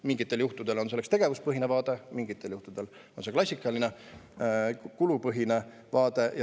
Mingitel juhtudel sobib tegevuspõhine vaade, mingitel juhtudel klassikaline kulupõhine vaade.